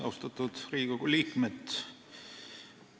Austatud Riigikogu liikmed!